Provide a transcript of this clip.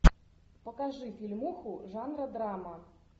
покажи фильмуху жанра драма